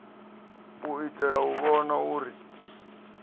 u itela u vhona uri